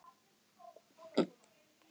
Sindri: Stundar þú þetta oft?